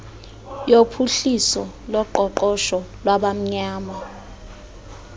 yophuhliso loqoqosho lwabamnyama